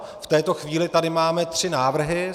V této chvíli tady máme tři návrhy.